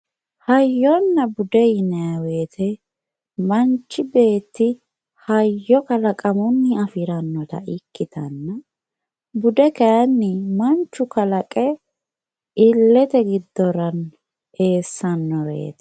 hayyonna bude yinayi wooyiite manchi beetti hayyo kalaqamunni afirannota ikkitanna bude kayiini manchu kalaqe illete giddora esannoreeti